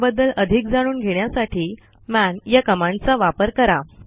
त्याबद्दल अधिक जाणून घेण्यासाठी मन या कमांडचा वापरा